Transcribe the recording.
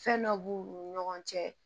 Fɛn dɔ b'u ni ɲɔgɔn cɛ